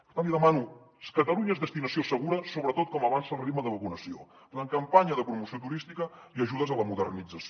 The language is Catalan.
per tant li demano catalunya és destinació segura sobretot com avança el ritme de vacunació la campanya de promoció turística i ajudes a la modernització